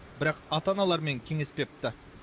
бірақ ата аналармен кеңеспепті